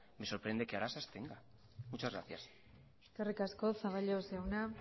me sorprende que ahora se abstenga muchas gracias eskerrik asko zaballos jauna